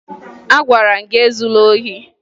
Agwara m gị ezula ohi!